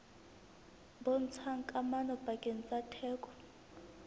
bontshang kamano pakeng tsa theko